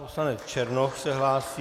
Poslanec Černoch se hlásí.